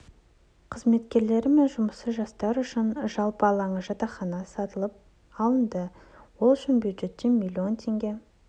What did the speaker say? қызметкерлері мен жұмысшы жастар үшін жалпы алаңы жатақхана сатып алынды ол үшін бюджеттен млн теңге